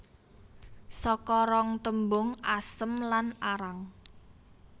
Saka rong tembung asem lan arang